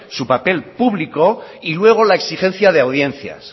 su papel público y luego la exigencia de audiencias